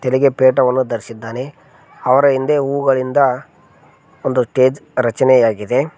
ತಲೆಗೆ ಪೇಟವನ್ನು ಧರಿಸಿದ್ದಾನೆ ಅವರ ಹಿಂದೆ ಹೂಗಳಿಂದ ಒಂದು ಟೇಜ್ ರಚನೆಯಾಗಿದೆ.